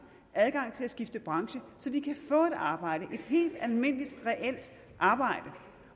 adgang til at skifte branche så de kan få et arbejde et helt almindeligt reelt arbejde